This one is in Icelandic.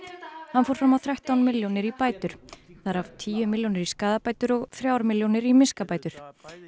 hann fór fram á þrettán milljónir í bætur þar af tíu milljónir í skaðabætur og þrjár milljónir í miskabætur